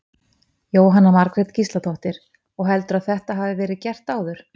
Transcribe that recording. Jóhanna Margrét Gísladóttir: Og heldurðu að þetta hafi verið gert áður?